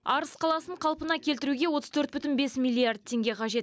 арыс қаласын қалпына келтіруге отыз төрт бүтін бес миллиард теңге қажет